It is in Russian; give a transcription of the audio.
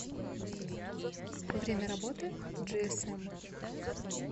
время работы джиэсэм